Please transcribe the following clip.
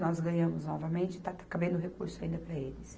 Nós ganhamos novamente e está cabendo recurso ainda para eles.